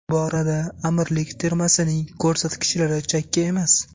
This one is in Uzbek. Bu borada Amirlik termasining ko‘rsatkichlari chakki emas.